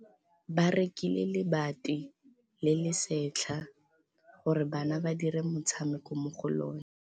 Ba rekile lebati le le setlha gore bana ba dire motshameko mo go lona.